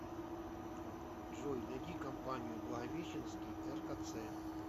джой найди компанию благовещенский ркц